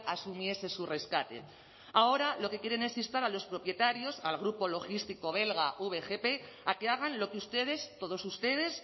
asumiese su rescate ahora lo que quieren es instar a los propietarios al grupo logístico belga vgp a que hagan lo que ustedes todos ustedes